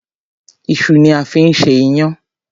Iṣu ni a fi ń ṣe iyán.